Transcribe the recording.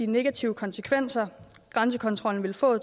negative konsekvenser grænsekontrollen ville få